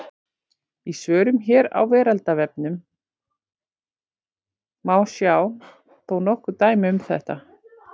Í svörum hér á Vísindavefnum má sjá þó nokkur dæmi um þetta.